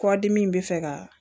Kɔdimi bɛ fɛ ka